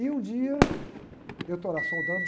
E um dia eu estou lá soldando